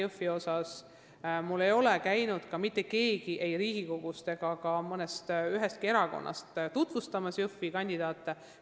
Minu juures ei ole käinud ka mitte keegi Riigikogust ega ühestki erakonnast Jõhvi kandidaate tutvustamas.